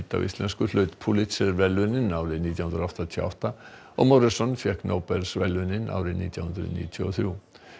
á íslensku hlaut Pulitzer verðlaunin árið nítján hundruð áttatíu og átta og fékk Nóbelsverðlaunin árið nítján hundruð níutíu og þrjú